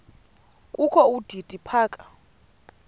kokho udidi phaka